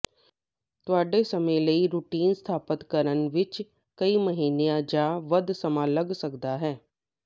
ਤੁਹਾਡੇ ਸਮੇਂ ਲਈ ਰੁਟੀਨ ਸਥਾਪਤ ਕਰਨ ਵਿੱਚ ਕਈ ਮਹੀਨਿਆਂ ਜਾਂ ਵੱਧ ਸਮਾਂ ਲੱਗ ਸਕਦਾ ਹੈ